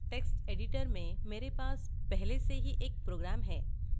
text editor में मेरे पास पहले से ही एक program है